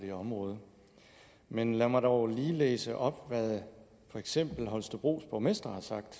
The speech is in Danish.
det område men lad mig dog lige læse op hvad for eksempel holstebros borgmester har sagt